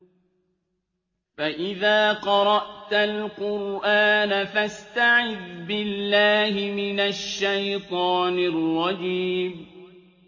فَإِذَا قَرَأْتَ الْقُرْآنَ فَاسْتَعِذْ بِاللَّهِ مِنَ الشَّيْطَانِ الرَّجِيمِ